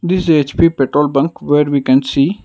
it's a H_P petrol bunk where we can see.